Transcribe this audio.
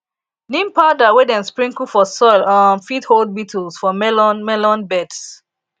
neem powder wey dem sprinkle for soil um fit hold beetles for melon melon beds